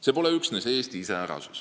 See pole üksnes Eesti iseärasus.